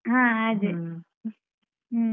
ಹಾ ಅದೇ. ಹ್ಮ.